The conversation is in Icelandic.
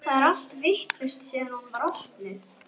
Það er allt vitlaust síðan hún var opnuð.